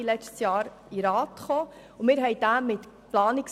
Ende letzten Jahres wurde diese dem Grossen Rat vorgelegt.